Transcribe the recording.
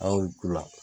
An y'u k'u la